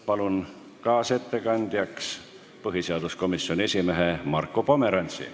Palun kaasettekandjaks põhiseaduskomisjoni esimehe Marko Pomerantsi.